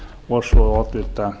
og svo oddvita